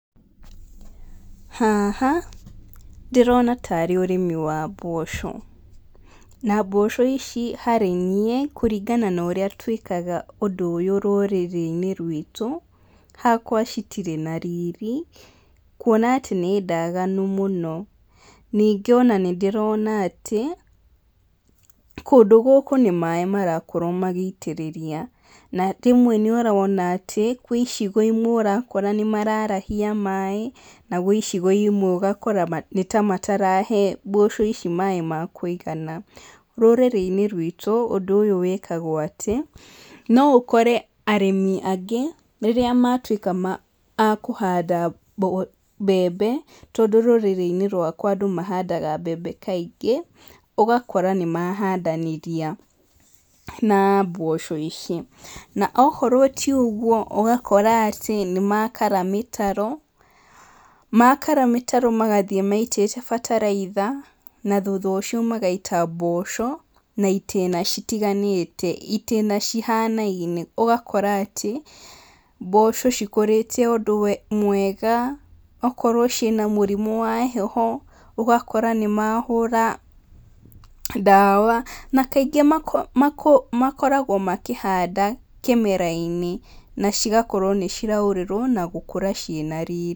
Haha, ndĩrona tarĩ ũrĩmi wa mboco. Na mboco ici harĩniĩ, kũringa na ũrĩa twĩkaga ũndũ ũyũ rũrĩrĩinĩ rwitũ, hakwa citirĩ na riri, kuona atĩ nĩ ndaganu mũno. Ningĩ ona nĩndĩrona atĩ, kũndũ gũkũ nĩ maĩ marakorwo magĩitĩrĩria, na rĩmwe nĩũrona atĩ gwĩ icigo imwe ũrakora nĩmararahia maĩ, na gwĩ icigo imwe nĩtamatarahe mboco ici maĩ ma kũigana. Rũrĩrĩinĩ rwitũ, ũndũ ũyũ wĩkagwo atĩ, no ũkore arĩmi angĩ, rĩrĩa matuĩka ma a kũhanda mbo mbembe, tondũ rũrĩrĩinĩ rwakwa andũ mahandaga mbembe kaingĩ, ũgakora nĩmahandanĩria na mboco ici, na okorwo ti ũguo, ũgakora atĩ nĩmakara mĩtaro, makara mĩtaro magathiĩ maitĩte bataraitha, na thutha ũcio magaita mboco, na itĩna citiganĩte, itĩna cihanaine, ũgakora atĩ, mboco cikũrĩte ũndũ mwega, okorwo ciĩna mũrimũ wa heho, ũgakora nĩ mahũra ndawa, na kaingĩ mako makũ makoragwo makĩhanda kĩmerainĩ na cigakorwo nĩciraurĩrwo na gũkũra ciĩ na riri.